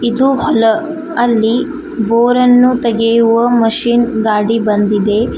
ಇದು ಹೊಲ ಅಲ್ಲಿ ಬೋರ್ ಅನ್ನು ತೆಗೆಯುವ ಮಷೀನ್ ಗಾಡಿ ಬಂದಿದೆ.